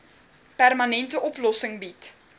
permanente oplossing bied